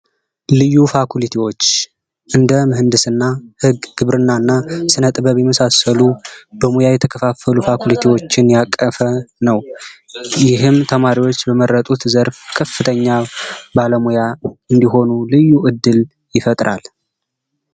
ልዩ ፋኩሊቲዎች እንደ ምህንድስና ፣ህግ ፣ግብርና እና ስነጥበብ የመሳሰሉ በሙያ የተከፋፈሉ ፋኩሊቲዎችን ያቀፈ ነው። ይህም ተማሪዎች በመረጡት ዘርፍ ከፍተኛ ባለሙያ እንዲሆኑ ልዩ እድል ይፈጥራል።